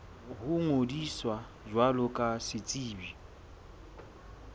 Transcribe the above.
ho ngodisa jwalo ka setsebi